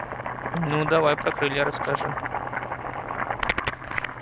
ну давай про крылья расскажи